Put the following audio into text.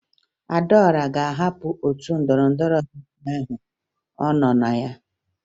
Adaọra ga-ahapụ otu ndọrọndọrọ ọchịchị ahụ ọ nọ na ya